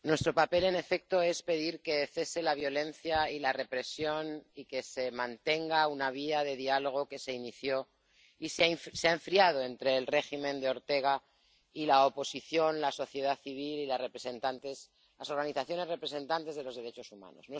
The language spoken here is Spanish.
Señora presidenta, nuestro papel, en efecto, es pedir que cese la violencia y la represión y que se mantenga una vía de diálogo —que se inició y se ha enfriado— entre el régimen de Ortega y la oposición, la sociedad civil y las organizaciones representantes de los derechos humanos.